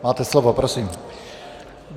Máte slovo, prosím.